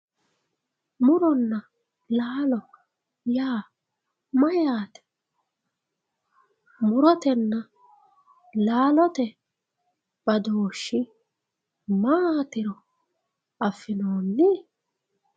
Muronna laallo yaa mayate, murotenna laallotte bafooshi maatiro afinooni